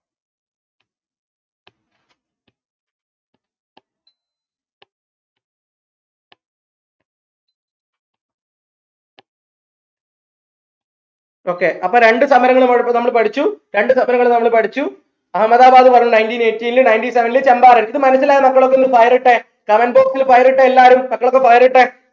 okay അപ്പൊ രണ്ട് സമരങ്ങൾ നമ്മൾ ഇവിടെ ഇപ്പൊ നമ്മൾ പഠിച്ചു രണ്ട് സമരങ്ങൾ നമ്മൾ പഠിച്ചു അഹമ്മദാബാദ് പറഞ്ഞു nineteen eighteen ൽ nineteen seventeen ൽ ചമ്പാരൻ ഇത് മനസിലായ മക്കളൊക്കെ ഒന്ന് fire ഇട്ടേ comment box ൽ fire ഇട്ടേ എല്ലാരും മക്കളൊക്കെ fire ഇട്ടേ